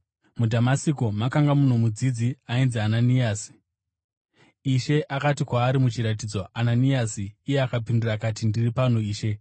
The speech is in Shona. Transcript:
MuDhamasiko makanga muno mudzidzi ainzi Ananiasi. Ishe akati kwaari muchiratidzo, “Ananiasi!” Iye akapindura akati, “Ndiri pano Ishe.”